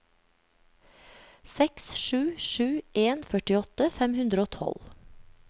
seks sju sju en førtiåtte fem hundre og tolv